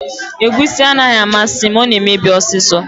Egusi anaghị amasị m, ọ na emebi ọsịsọ